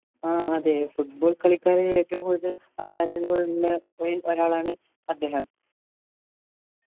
ആഹ് അതെ football കളിക്കാരൻ ഏറ്റവും കൂടുതൽ ആരാധകർ ഉള്ള main ഒരാളാണ് അദ്ദേഹം